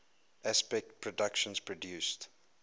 aspect productions produced